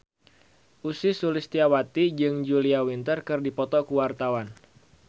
Ussy Sulistyawati jeung Julia Winter keur dipoto ku wartawan